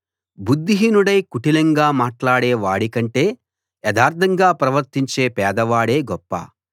బుద్ధిహీనుడై కుటిలంగా మాట్లాడే వాడి కంటే యథార్థంగా ప్రవర్తించే పేదవాడే గొప్ప